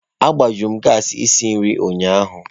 Agbajuru m gassi isi nri ụnyaahụ.